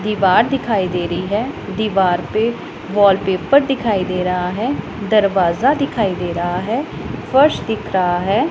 दीवार दिखाई दे रही है। दीवार पे वॉलपेपर दिखाई दे रहा है। दरवाजा दिखाई दे रहा है। फर्श दिख रहा है।